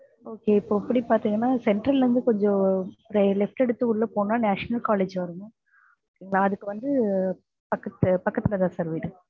okay இப்போ இப்படி பாத்தீங்கன்னா central ல இருந்து கொஞ்சம் left எடுத்து உள்ள போனா National college வரும் அதுக்கு வந்து பக்கத்து பக்கத்துலதான் sir வீடு